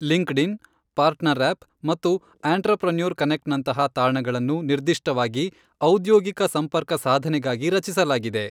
LinkedIn, PartnerUp ಮತ್ತು entrepreneur ಕನೆಕ್ಟ್ನಂತಹ ತಾಣಗಳನ್ನು ನಿರ್ದಿಷ್ಟವಾಗಿ ಔದ್ಯೋಗಿಕ ಸಂಪರ್ಕ ಸಾಧನೆಗಾಗಿ ರಚಿಸಲಾಗಿದೆ.